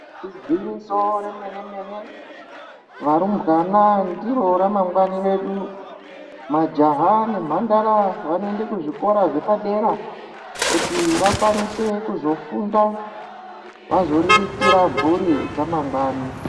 Igwinyiso remene-mene, varumbwana ndiro ramangwani redu. Majaha nemhandara vanoenda kuzvikora zvepadera kuti vakwanise kuzofunda, vazoriritira mphuri dzamangwani.